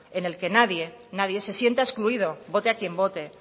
en el que nadie se sienta excluido vote a quien vote